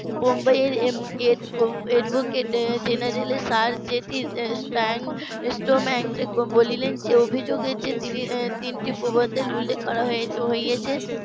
বোম্বাই এর advocate general এর . sir Frank স্টম্যান্স বলিলেন যে অভিযোগ এর যে তিনটি প্রবন্ধ এর উল্লেখ করা হয়েছে